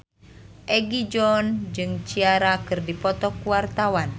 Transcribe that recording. Egi John jeung Ciara keur dipoto ku wartawan